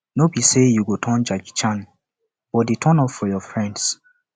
no be sey you go turn jackie chan but dey turn up for your friends